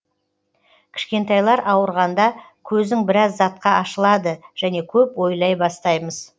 кішкентайлар ауырғанда көзің біраз затқа ашылады және көп ойлай бастаймыз